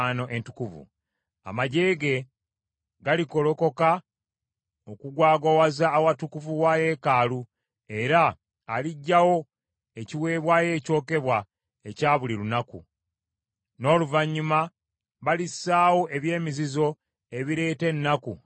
“Amaggye ge galigolokoka okugwagwawaza awatukuvu wa yeekaalu era aliggyawo ekiweebwayo ekyokebwa ekya buli lunaku. N’oluvannyuma balissaawo eby’emizizo ebireeta ennaku n’okubonaabona.